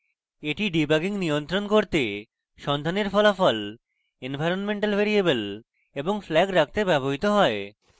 এটি ডিবাগিং নিয়ন্ত্রণ করতে সন্ধানের ফলাফল এনভায়রনমেন্টাল ভ্যারিয়েবল এবং flags রাখতে ব্যবহৃত হয়